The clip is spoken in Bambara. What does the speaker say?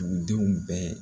Dugudenw bɛɛ